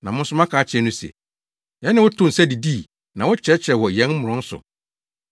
“Na mo nso moaka akyerɛ no se, ‘Yɛne wo too nsa didii na wokyerɛkyerɛɛ wɔ yɛn mmorɔn so.’